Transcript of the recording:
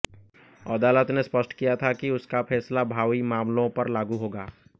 अदालत ने स्पष्ट किया था कि उसका फैसला भावी मामलों पर लागू होगा